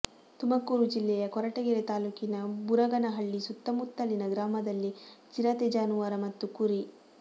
ತುಮಕೂರು ಜಿಲ್ಲೆಯ ಕೊರಟಗೆರೆ ತಾಲ್ಲೂಕಿನ ಬುರುಗನಹಳ್ಳಿ ಸುತ್ತಮುತ್ತಲಿನ ಗ್ರಾಮದಲ್ಲಿ ಚಿರತೆ ಜಾನುವಾರು ಮತ್ತು ಕುರಿ